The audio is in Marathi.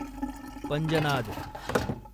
पंजनाद